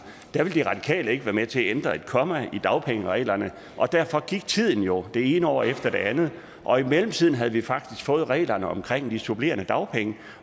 ville de radikale ikke være med til at ændre et komma i dagpengereglerne og derfor gik tiden jo det ene år efter det andet og i mellemtiden havde vi faktisk fået reglerne om de supplerende dagpenge